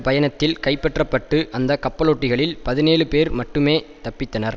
பயணத்தில் கைப்பற்றபட்டு அந்த கப்பலோட்டிகளில் பதினேழு பேர் மட்டுமே தப்பித்தனர்